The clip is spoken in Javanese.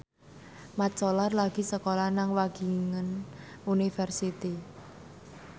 Mat Solar lagi sekolah nang Wageningen University